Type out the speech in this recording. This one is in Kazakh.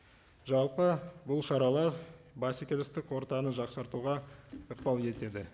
жалпы бұл шаралар бәсекелестік ортаны жақсартуға ықпал етеді